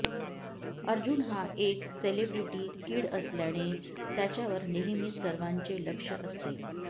अर्जुन हा एक celebrity kid असल्याने त्याच्यावर नेहमीच सर्वांचे लक्ष असते